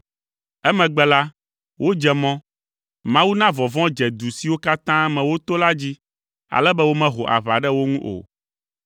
Emegbe la, wodze mɔ. Mawu na vɔvɔ̃ dze du siwo katã me woto la dzi, ale be womeho aʋa ɖe wo ŋu o.